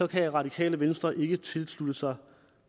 kan radikale venstre ikke tilslutte sig